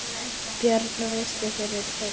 Björn rist fyrir torfu.